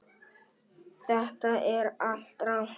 Þetta er allt rangt.